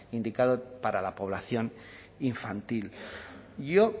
indicado para la población infantil yo